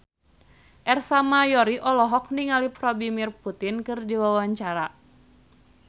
Ersa Mayori olohok ningali Vladimir Putin keur diwawancara